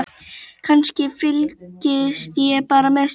Kannski, fylgist ég bara með stöðunni?